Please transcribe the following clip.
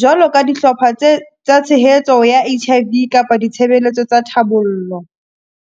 jwalo ka dihlopha tse, tsa tshehetso ya H_I_V kapa ditshebeletso tsa thabollo.